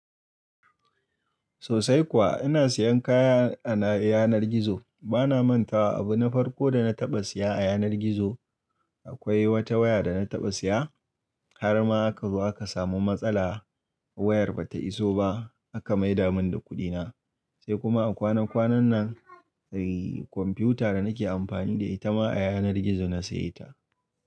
Sosai kuwa ina siyan kaya a na yanar gizo. Bana manta wa abu na farko da na taɓa siya a yanar gizo. Akwai wata waya da na taɓa siya, har ma aka zo aka samu matsala. Wayar bata iso ba aka maida mun da kuɗina. Sai kuma a kwanan kwanan nan, eh computer da nake amfani da ita ma a yanar gizo na siya ta.